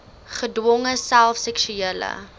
gedwonge self seksuele